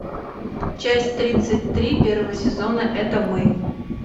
часть тридцать три первого сезона это мы